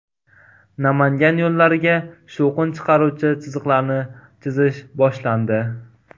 Namangan yo‘llariga shovqin chiqaruvchi chiziqlarni chizish boshlandi.